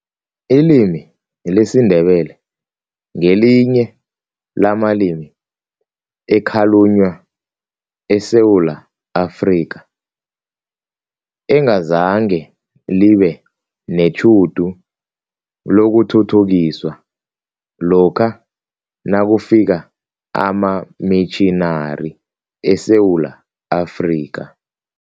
Ilimi lesiNdebele ngelinye lamalimi ekhalunywa eSewula Afrika, engazange libe netjhudu lokuthuthukiswa lokha nakufika amamitjhinari eSewula Afrika.